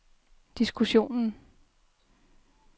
diskussionen